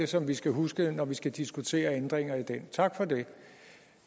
som vi skal huske når vi skal diskutere ændringer i den tak for det